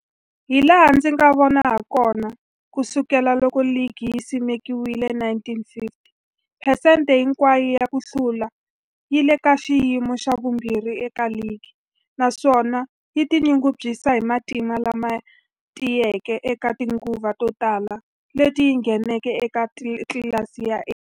Hilaha ndzi nga vona hakona, ku sukela loko ligi yi simekiwile, 1950, phesente hinkwayo ya ku hlula yi le ka xiyimo xa vumbirhi eka ligi, naswona yi tinyungubyisa hi matimba lama tiyeke eka tinguva to tala leti yi ngheneke eka tlilasi ya A.